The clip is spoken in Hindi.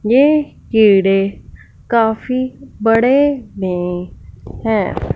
ये कीड़े काफी बड़े मे है।